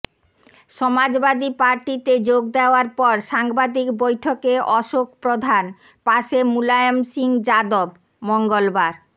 সমাজবাদী পার্টিতে যোগ দেওয়ার পর সাংবাদিক বৈঠকে অশোক প্রধান পাশে মুলায়ম সিং যাদব মঙ্গলবার